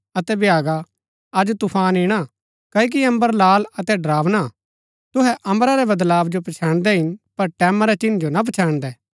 अतै भ्यागा अज तूफान ईणा क्ओकि अम्बर लाल अतै ड़रावना हा तुहै अम्बरा रै वदलाव जो पछैन्दै हिन पर टैमां रै चिन्ह जो ना पछैन्दै